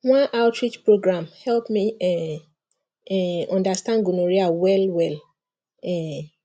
one outreach program help me um um understand gonorrhea well well um